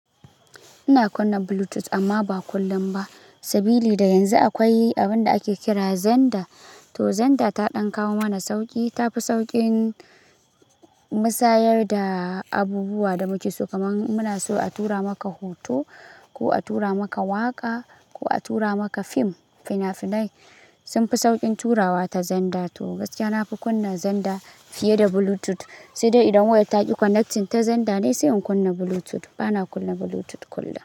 Ina kunna Bluetooth amma ba kullum ba. Sabili da yanzu akwai abinda ake kira xenda. To xenda ta dan kawo mana sauƙi, ta fi sauƙin musayar da abubuwa da muke so. Kamar muna so a tura maka hoto ko a tura maka waƙa ko a tura maka fim, fina-finai sunfi sauƙin turawa ta xenda. To gaskiya nafi kunna Zenda fiye da Bluetooth, sai dai idan waya taƙi connection ta xenda ne sai in kunna Bluetooth. Bana kunna Bluetooth kullum.